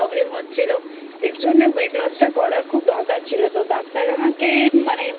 Problem হচ্ছিল. এর জন্য Weight loss টা করার খুব দরকার ছিল. তো ডাক্তার আমাকে